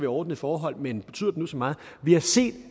ordnede forhold men betyder det nu så meget vi har set